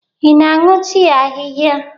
Ị na-aṅụ tii ahịhịa?